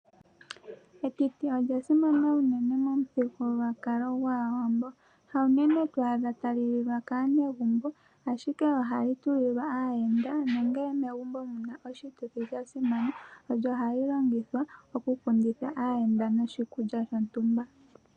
Etiti olya simana uunene momuthigululwakalo gwAawambo hawu nene to adha tali lilwa kaanegumbo ,ashike ohali tulilwa aayenda nongele megumbo omuna oshituthi sha simana olyo hali longithwa oku kundithwa aayenda noshi kulya shontumba.